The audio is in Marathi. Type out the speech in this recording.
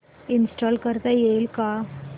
इंस्टॉल करता येईल का